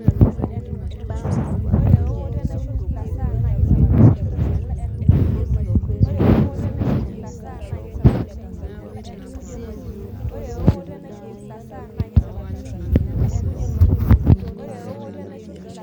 Iyielou ake empoosho naatayeutwa nekesi tinidol tolchamba